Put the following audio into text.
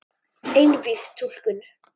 Einvíð túlkun